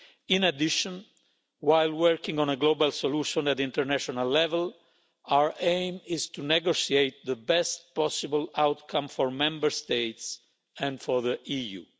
In addition, while working on a global solution at international level, our aim is to negotiate the best possible outcome for Member States and for the EU.